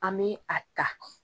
An mi a ta